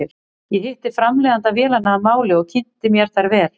Ég hitti framleiðanda vélanna að máli og kynnti mér þær vel.